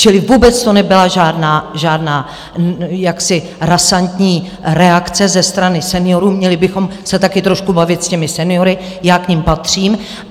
Čili vůbec to nebyla žádná jaksi razantní reakce ze strany seniorů, měli bychom se také trošku bavit s těmi seniory, já k nim patřím.